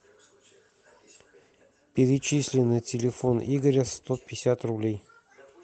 перечисли на телефон игоря сто пятьдесят рублей